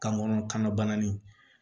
Kan kɔnɔbana in